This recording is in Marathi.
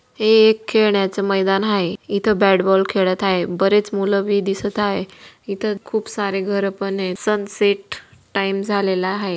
हे एक खेळण्याचे मैदान आहे इथं बॅट बाॅल खेळत आहे बरेच मुल ही दिसत आहे इथं खूप सारे घर पण आहे सनसेट टाइम झालेला आहे.